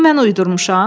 Bunu mən uydurmuşam.